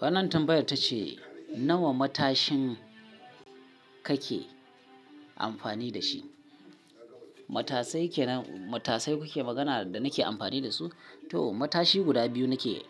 Wannan tambayar tace nawa matashin kake amfani da shi? Matasai ke, matasai kuke magana da nake amfani da su? To matashi guda biyu nake,